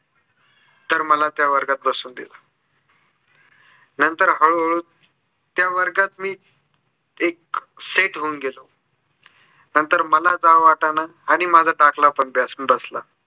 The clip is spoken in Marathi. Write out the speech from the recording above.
तर मला त्या वर्गात बसवून दिलं. नंतर हळू हळू त्या वर्गात मी एक set होऊन गेलो. नंतर मला जावं वाटेना आणि आणि माझा दाखला पण जास्त बसला.